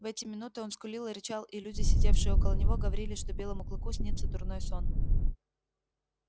в эти минуты он скулил и рычал и люди сидевшие около него говорили что белому клыку снится дурной сон